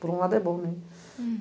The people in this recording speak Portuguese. Por um lado é bom, né? Hm